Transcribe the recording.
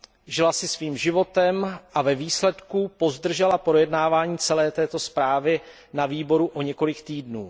Žila si svým životem a ve výsledku pozdržela projednávání celé této zprávy na výboru o několik týdnů.